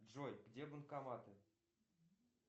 джой где банкоматы